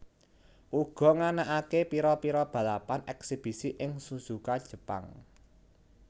uga nganakaké pira pira balapan eksibisi ing Suzuka Jepang